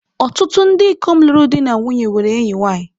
Ọtụtụ ndị ikom lụrụ di na nwunye nwere enyi nwanyị.